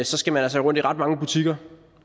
så skal man altså rundt i ret mange butikker